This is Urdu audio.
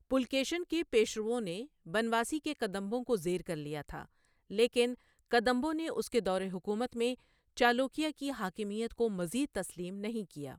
پُلکیشن کے پیشروؤں نے بنواسی کے کدمبوں کو زیر کر لیا تھا، لیکن کدمبوں نے اس کے دور حکومت میں چالوکیہ کی حاکمیت کو مزید تسلیم نہیں کیا۔